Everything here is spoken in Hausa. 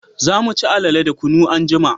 Za mu ci alale da kunu anjima